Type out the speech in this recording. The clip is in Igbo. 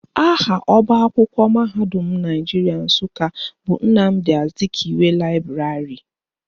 Aha ọbaakwụkwọ mahadum Naijiria Nsụka bụ Nnamdi Azikiwe Laịbrarị